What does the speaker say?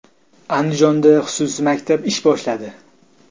Andijonda xususiy maktab ish boshladi.